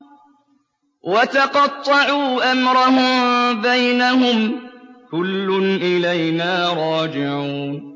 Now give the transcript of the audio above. وَتَقَطَّعُوا أَمْرَهُم بَيْنَهُمْ ۖ كُلٌّ إِلَيْنَا رَاجِعُونَ